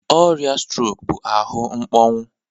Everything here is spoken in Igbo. Ọrịa strok bụ ahụ mkpọnwụ